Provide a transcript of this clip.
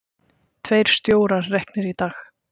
Tveir stjórar reknir í dag